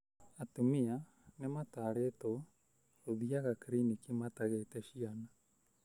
Atumia nĩ matarĩtuo gũthĩaga cliniki matagĩte ciana